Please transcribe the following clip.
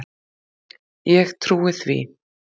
Ég trúi því.